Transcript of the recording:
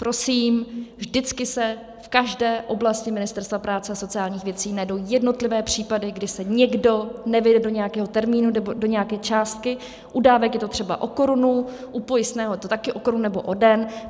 Prosím, vždycky se v každé oblasti Ministerstva práce a sociálních věcí najdou jednotlivé případy, kdy se někdo nevejde do nějakého termínu nebo do nějaké částky, u dávek je to třeba o korunu, u pojistného je to taky o korunu nebo o den.